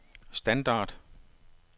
standard